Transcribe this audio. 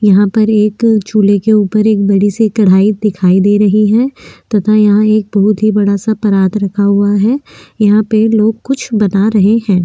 यहाँ पर एक चूले के ऊपर एक बड़ी सी कड़ाई दिखाई दे रही है तथा यहाँ एक बहुत ही बड़ासा पराद रखा हुआ है यहाँ पे लोग कुछ बना रहे है।